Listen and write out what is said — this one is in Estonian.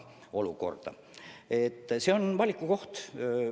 Kohustuslikkus aga on valiku koht.